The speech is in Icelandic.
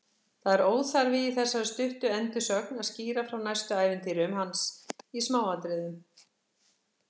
Það er óþarfi í þessari stuttu endursögn að skýra frá næstu ævintýrum hans í smáatriðum.